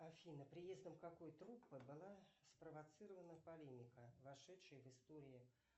афина приездом какой труппы была спровоцирована полемика вошедшая в истории